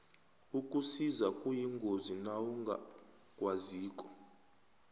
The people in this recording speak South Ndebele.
ukusisa kuyingozi nawungakwaziko